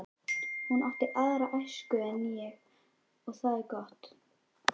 Hún átti aðra æsku en ég og það er gott.